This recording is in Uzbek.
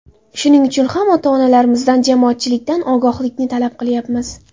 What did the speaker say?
Shuning uchun ham ota-onlarimizdan, jamoatchilikdan ogohlikni talab qilayapmiz.